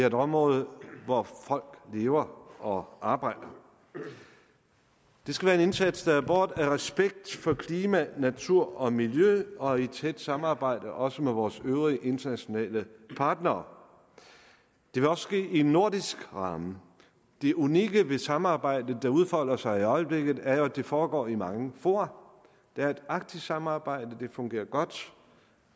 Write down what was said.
et område hvor folk lever og arbejder det skal være en indsats der er båret af respekt for klima natur og miljø og i tæt samarbejde også med vores øvrige internationale partnere det vil også ske i en nordisk ramme det unikke ved samarbejdet der udfolder sig i øjeblikket er jo at det foregår i mange fora der er et arktisk samarbejde det fungerer godt